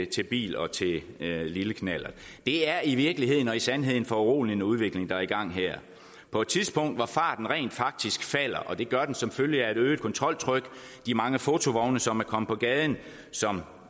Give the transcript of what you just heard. til bil og til lille knallert det er i virkeligheden og i sandhed en foruroligende udvikling der er i gang her på et tidspunkt hvor farten rent faktisk falder og det gør den som følge af et øget kontroltryk de mange fotovogne som er kommet på gaden og som